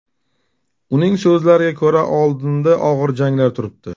Uning so‘zlariga ko‘ra, oldinda og‘ir janglar turibdi.